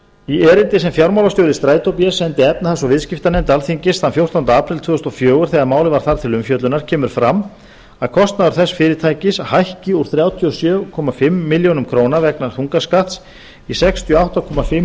í erindi sem fjármálastjóri strætó bs sendi efnahags og viðskiptanefnd alþingis þann fjórtánda apríl tvö þúsund og fjögur þegar málið var þar til umfjöllunar kemur fram að kostnaður þess fyrirtækis hækki úr þrjátíu og sjö og hálfa milljón króna vegna þungaskatts í sextíu og átta og hálfa